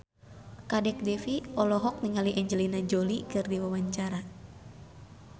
Kadek Devi olohok ningali Angelina Jolie keur diwawancara